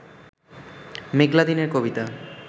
মেঘলা দিনের কবিতা